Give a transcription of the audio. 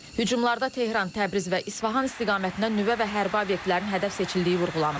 Hücumlarda Tehran, Təbriz və İsfahan istiqamətində nüvə və hərbi obyektlərin hədəf seçildiyi vurğulanıb.